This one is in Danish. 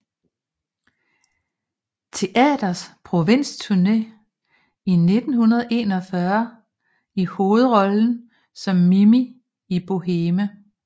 Teaters provinsturné i 1941 i hovedrollen som Mimi i Boheme